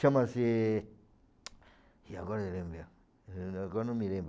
Chama-se... e agora agora não me lembro.